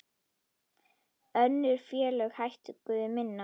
Önnur félög hækkuðu minna.